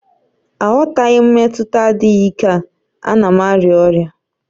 Aghọtaghị m mmetụta adịghị ike a, a na m arịa ọrịa